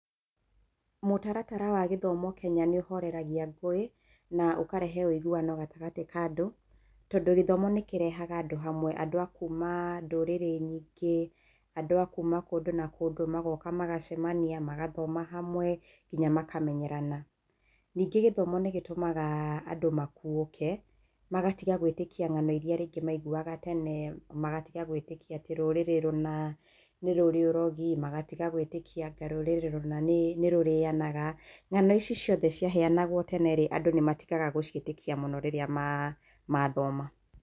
Mũtaratara wa gĩthomo Kenya nĩ ũhoreragia ngũĩ, na ũkarehe ũiguano gatagatĩ ka andũ, tondũ gĩthomo nĩ kĩrehaga andũ hamwe. Andũ a kuuma ndũrĩrĩ nyingĩ, andũ a kuuma kũndũ na kũndũ magoka magacemania, magathoma hamwe, nginya makamenyerana. Ningĩ gĩthomo nĩ gĩtũmaga andũ makuũke, magatiga gwĩtĩkia ng'ano iria rĩngĩ maiguaga tene, magatiga gwĩtĩkia atĩ rũrĩrĩ rũna nĩ rũrĩ ũrogi, magatiga gwĩtĩkia anga rũrĩrĩ rũna nĩ rũrĩanaga, ng'ano ici ciothe ciaheanagwo tene rĩ, andũ nĩ matigaga gũciĩtĩkia mũno rĩrĩa mathoma.